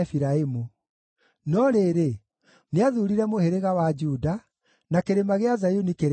no rĩrĩ, nĩathuurire mũhĩrĩga wa Juda, na Kĩrĩma gĩa Zayuni kĩrĩa endete.